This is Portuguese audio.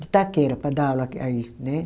de Itaquera, para dar aula aí né.